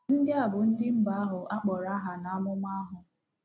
Ndị a bụ “ ndị mba ” ahụ a kpọrọ aha n’amụma ahụ.